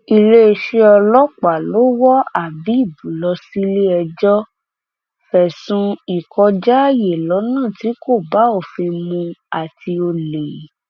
iléeṣẹ ọlọpàá ló wọ habéb lọ síléẹjọ fẹsùn ìkọjáààyè lọnà tí kò bá òfin mu àti ọlẹ